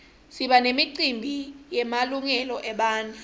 siba nemicimbi yemalungelo ebantfu